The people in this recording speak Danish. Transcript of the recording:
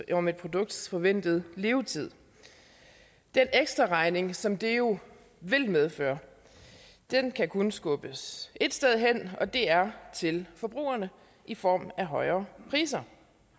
om et produkts forventede levetid den ekstraregning som det jo vil medføre kan kun skubbes ét sted hen og det er til forbrugerne i form af højere priser